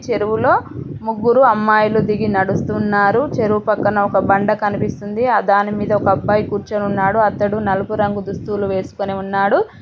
చెరువులో ముగ్గురు అమ్మాయిలు దిగి నడుస్తున్నారు చెరువు పక్కన ఒక బండ కనిపిస్తుంది ఆ దాని పైన ఒక అబ్బాయి కూర్చొని ఉన్నాడు అతడు నలుపు రంగు దుస్తులు వేసుకొని ఉన్నాడు.